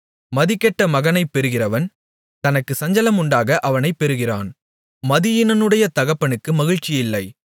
மதிகெட்ட மகனைப் பெறுகிறவன் தனக்குச் சஞ்சலம் உண்டாக அவனைப் பெறுகிறான் மதியீனனுடைய தகப்பனுக்கு மகிழ்ச்சியில்லை